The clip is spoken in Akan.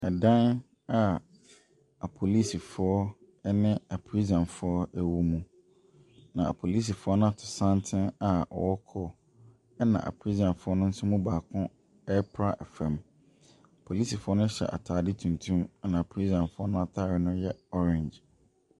Ɛdan a apolisifoɔ ne aprisanfoɔ wɔ mu, na apolisifoɔ no ato santene a wɔrekɔ, ɛna aprisanfoɔ no nso mu baako repra fam. Apolisifoɔ no hyɛ atadeɛw tuntum, ɛna aprisanfoɔ nno atadeɛ no yɛ orange.